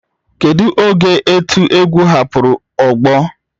Kedu oge otu egwu egwu hapụrụ ogbo